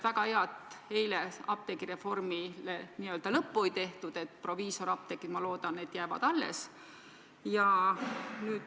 Väga hea, et eile apteegireformile n-ö lõppu ei tehtud, proviisorapteegid, ma loodan, jäävad alles.